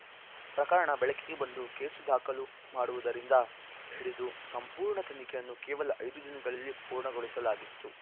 ಪ್ರಕರಣ ಬೆಳಕಿಗೆ ಬಂದು ಕೇಸು ದಾಖಲು ಮಾಡುವುದರಿಂದ ಹಿಡಿದು ಸಂಪೂರ್ಣ ತನಿಖೆಯನ್ನು ಕೇವಲ ಐದು ದಿನಗಳಲ್ಲಿ ಪೂರ್ಣಗೊಳಿಸಲಾಗಿತ್ತು